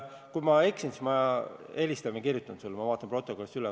Kui ma eksin, siis ma helistan või kirjutan sulle, ma vaatan protokollist üle.